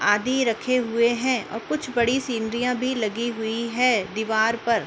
आधी रखे हुए हैं और कुछ बड़ी सिनरियाँ भी लगी हुई हैं दीवार पर --